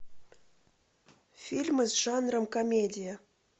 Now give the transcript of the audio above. фильмы с жанром комедия